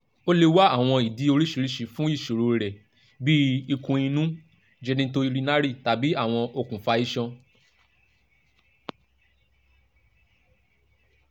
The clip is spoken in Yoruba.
o le wa awọn idi oriṣiriṣi fun iṣoro rẹ bii ikun-inu genitourinary tabi awọn okunfa iṣan